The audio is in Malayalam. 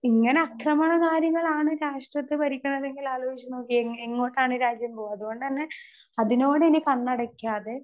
സ്പീക്കർ 2 ഇങ്ങനെ അക്രമണകാരികളാണ് രാഷ്ട്രത്തെ ഭരിക്കണത് എങ്കിൽ ആലോചിച്ചുനോക്കിയേ? എങ്ങോട്ടാണ് രാജ്യം പോവാ. അതുകൊണ്ടുതന്നെ അതിനോട് ഇനി കണ്ണടക്കാതെ